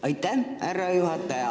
Aitäh, härra juhataja!